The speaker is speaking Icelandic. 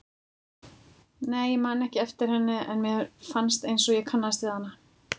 Nei, ég man ekki eftir henni en mér fannst einsog ég kannaðist við hana.